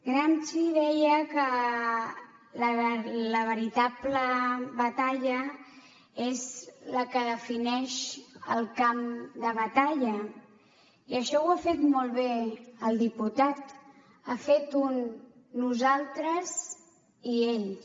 gramsci deia que la veritable batalla és la que defineix el camp de batalla i això ho ha fet molt bé el diputat ha fet un nosaltres i ells